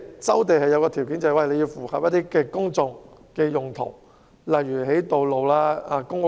收地的其中一個條件是必須符合公眾用途，例如興建道路和公屋。